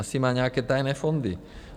Asi má nějaké tajné fondy.